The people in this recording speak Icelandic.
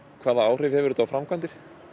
hvaða áhrif hefur þetta á framkvæmdir